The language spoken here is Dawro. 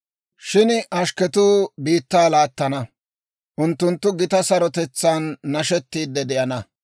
Shin ashkketuu biittaa laattana; unttunttu gitaa sarotetsaan nashettiide de'ana.